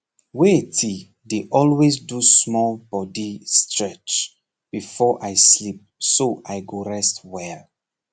waiti dey always do small body stretch before i sleep so i go rest well